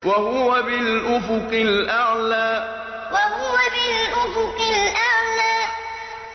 وَهُوَ بِالْأُفُقِ الْأَعْلَىٰ وَهُوَ بِالْأُفُقِ الْأَعْلَىٰ